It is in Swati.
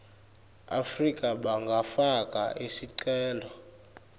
afrika bangafaka sicelo